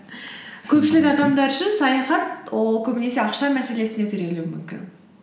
көпшілік адамдар үшін саяхат ол көбінесе ақша мәселесіне тірелуі мүмкін